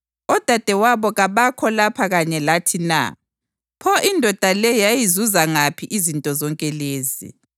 Odadewabo kabakho lapha kanye lathi na? Pho indoda le yazizuza ngaphi izinto zonke lezi?”